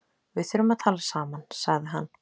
Við þurfum að tala saman, sagði hann.